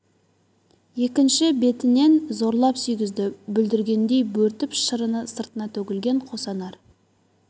екінші бетінен зорлап сүйгізді бүлдіргендей бөртіп шырыны сыртына төгілген қос анар